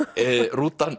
rútan